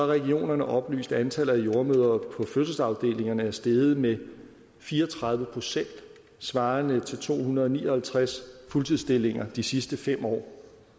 regionerne oplyst at antallet af jordemødre på fødselsafdelingerne er steget med fire og tredive procent svarende til to hundrede og ni og halvtreds fuldtidsstillinger de sidste fem år